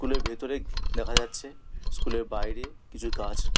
কুলের ভেতরে দেখা যাচ্ছে স্কুলের বাইরে কিছু গাছ।